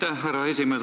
Aitäh, härra esimees!